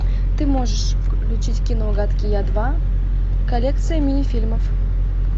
ты можешь включить кино гадкий я два коллекция мини фильмов